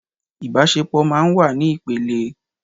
Ìbásepọ̀ máa n wá ní ìpele